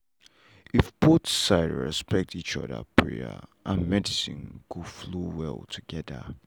if both side respect each other prayer and medicine go flow well together.